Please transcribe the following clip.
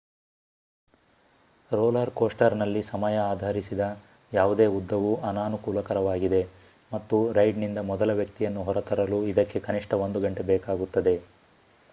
roller ಕೋಸ್ಟರ್‌ನಲ್ಲಿ ಸಮಯ ಆಧರಿಸಿದ ಯಾವುದೇ ಉದ್ದವೂ ಅನಾನುಕೂಲಕರವಾಗಿದೆ ಮತ್ತು ರೈಡ್‌ನಿಂದ ಮೊದಲ ವ್ಯಕ್ತಿಯನ್ನು ಹೊರತರಲು ಇದಕ್ಕೆ ಕನಿಷ್ಠ ಒಂದು ಗಂಟೆ ಬೇಕಾಗುತ್ತದೆ